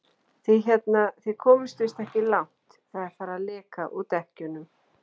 Þið hérna. þið komist víst ekki langt. það er farið að leka úr dekkjunum!